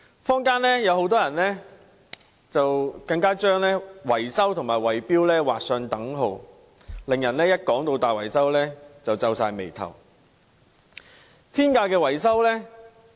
坊間很多人更將維修和圍標劃上等號，令人聽到大維修便皺眉頭。